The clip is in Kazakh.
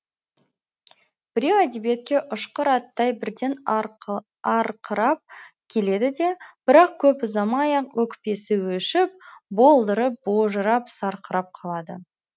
біреу әдебиетке ұшқыр аттай бірден арқырап келеді де бірақ көп ұзамай ақ өкпесі өшіп болдырып божырап сарқырап қалады